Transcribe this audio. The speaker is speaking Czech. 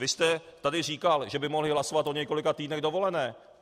Vy jste tady říkal, že by mohli hlasovat o několika týdnech dovolené.